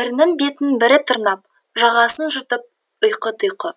бірінің бетін бірі тырнап жағасын жыртып ұйқы тұйқы